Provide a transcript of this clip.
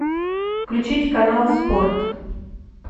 включить канал спорт